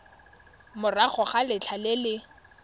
morago ga letlha le le